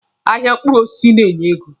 Ahịa mkpụrụ osisi na-enye ego.